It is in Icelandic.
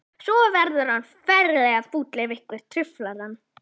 Svo verður hann ferlega fúll ef einhver truflar hann.